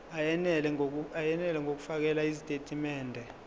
eyenele ngokufakela izitatimende